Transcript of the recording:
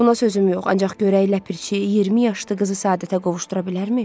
Buna sözüm yox, ancaq görək ləpirçi 20 yaşlı qızı səadətə qovuşdura bilərmi?